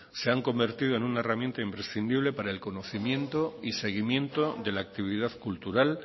se han convertido en una herramienta imprescindible para el conocimiento y seguimiento de la actividad cultural